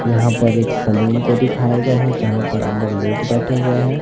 यहां पर एक सालून को दिखाया गया है जहां पर अंदर लोग बैठे हुए हैं।